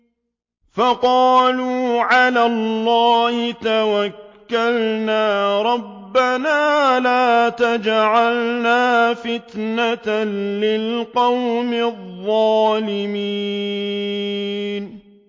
فَقَالُوا عَلَى اللَّهِ تَوَكَّلْنَا رَبَّنَا لَا تَجْعَلْنَا فِتْنَةً لِّلْقَوْمِ الظَّالِمِينَ